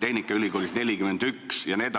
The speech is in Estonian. tehnikaülikoolis 41% jne.